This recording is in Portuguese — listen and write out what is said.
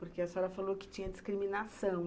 Porque a senhora falou que tinha discriminação.